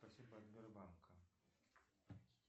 спасибо от сбербанка